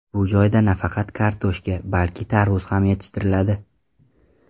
Bu joyda nafaqat kartoshka, balki tarvuz ham yetishtiriladi.